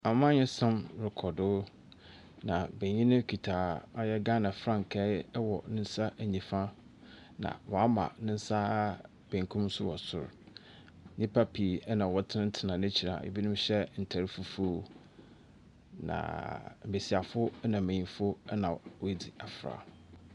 Amannyɛsom rekɔ do, na benyin no kita ɔyɛ Ghana frankae wɔ ne nsa nifa, na wɔama ne nsa benkum so wɔ sor. Nnipa pii na wɔtsenatsena 'ekyir a ebinom hyɛ ntar fufuo, na mbesiafo na mbenyimfo na woedzi afra.